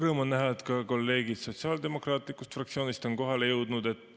Rõõm on näha, et kolleegid sotsiaaldemokraatlikust fraktsioonist on kohale jõudnud.